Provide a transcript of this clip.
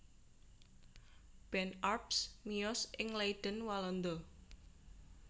Ben Arps miyos ing Leiden Walanda